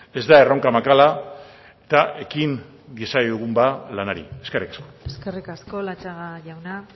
ez da erronka makala eta ekin diezaiegun ba lanari eskerrik asko eskerrik asko latxaga jauna